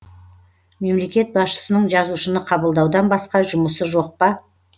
мемлекет басшысының жазушыны қабылдаудан басқа жұмысы жоқ па